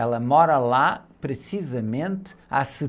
Ela mora lá precisamente há